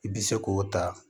I bɛ se k'o ta